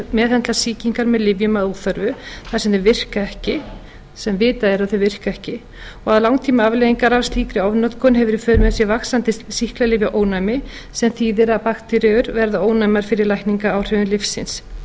meðhöndla sýkingar með lyfjum að óþörfu þar sem vitað er að þau virka ekki og langtímaafleiðingar af slíkri ofnotkun hefur í för með sér vaxandi sýklalyfjaónæmi sem þýðir að bakteríur verða ónæmar fyrir lækningaáhrifum lyfsins í sumum